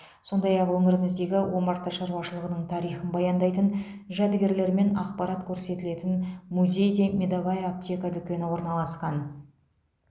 сондай ақ өңіріміздегі омарта шаруашылығының тарихын баяндайтын жәдігерлер мен ақпарат көрсетілетін музей де медовая аптека дүкені орналасқан